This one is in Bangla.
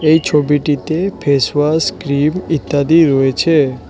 এই ছবিটিতে ফেস ওয়াশ ক্রিম ইত্যাদি রয়েছে।